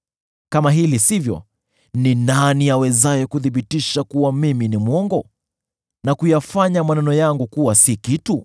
“Kama hili sivyo, ni nani awezaye kunithibitisha kuwa mwongo, na kuyafanya maneno yangu kuwa si kitu?”